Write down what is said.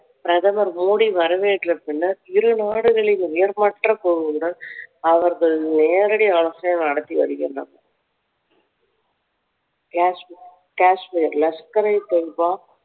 பிரதமர் மோடி வரவேற்ற பின்னர் இரு நாடுகளின் உயர்மட்ட குழுவுடன் அவர்கள் நேரடி ஆலோசனை நடத்தி வருகின்றனர் காஷ்மீ~ காஷ்மீர் லக்சரித்தொய்பாக்